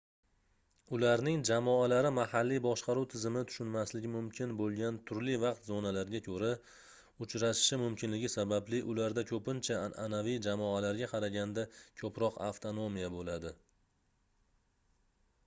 ularning jamoalari mahalliy boshqaruv tizimi tushunmasligi mumkin boʻlgan turli vaqt zonalariga koʻra uchrashishi mumkinligi sababli ularda koʻpincha anʼanaviy jamoalarga qaraganda koʻproq avtonomiya boʻladi